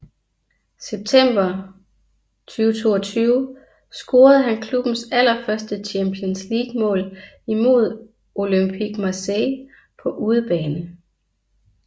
September 2022 scorede han klubbens allerførste Champions League mål imod Olympique Marseille på udebane